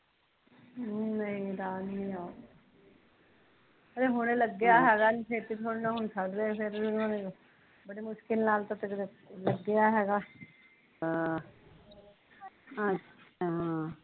ਨਹੀਂ ਰਾਜ ਨੀ ਆਊਗਾ ਹਲੇ ਹੁਣੀ ਲੱਗਿਆ ਹੈਗਾ ਏਨੀ ਛੇਤੀ ਥੋੜੀ ਨਾ ਛੱਡਦੇ ਹੈਗੇ ਫੇਰ ਹੁਣ ਬੜੀ ਮੁਸਕਿਲ ਨਾਲ਼ ਤਾਂ ਕਿਤੇ ਲੱਗਿਆ ਹੈਗਾ ਅਹ